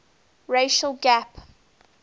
racial gap